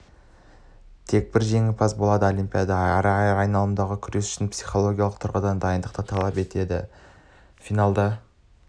тек бір жеңімпаз болады олимпиадада әр айналымдағы күрес үлкен психологиялық тұрғыдан дайындықты талап етеді финалда